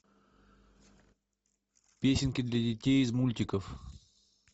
песенки для детей из мультиков